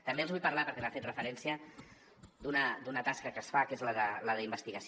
també els vull parlar perquè hi ha fet referència d’una tasca que es fa que és la d’investigació